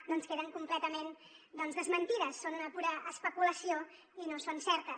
doncs queden completament desmentides són una pura especulació i no són certes